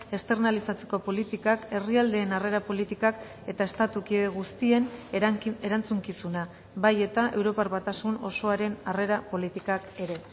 externalizatzeko politikak herrialdeen harrera politikak eta estatu kide guztien erantzukizuna bai eta europar batasun osoaren harrera politikak ere